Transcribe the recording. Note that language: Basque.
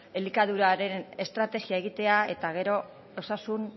elikaduraren estrategia egitea eta gero osasuna